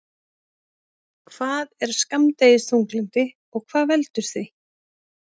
Hvað er skammdegisþunglyndi og hvað veldur því?